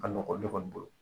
A ka nɔgɔn ne kɔni bolo